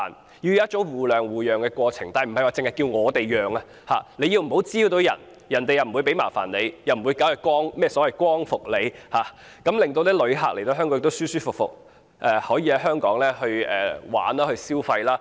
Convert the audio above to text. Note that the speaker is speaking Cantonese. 這是一種互讓互諒的過程，但不是只叫市民讓，旅客不滋擾別人，市民也不會給他們麻煩，不會展開光復行動，從而令旅客來到香港，可以舒舒服服遊玩及消費。